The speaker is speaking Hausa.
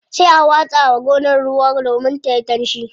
Sai a watsa wa gonar ruwa domin tayi danshi.